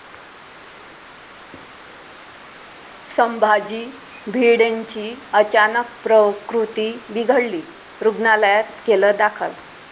संभाजी भिडेंची अचानक प्रकृती बिघडली, रुग्णालयात केलं दाखल